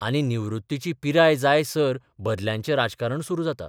आनी निवृत्तीची पिराय जायसर बदल्यांचें राजकारण सुरू जाता.